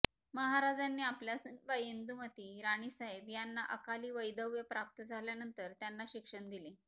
महाराजांनी आपल्या सुनबाई इंदुमती राणीसाहेब यांना अकाली वैधव्य प्राप्त झाल्यानंतर त्यांना शिक्षण दिले